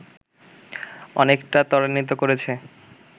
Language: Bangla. অনেকটা ত্বরান্বিত করেছে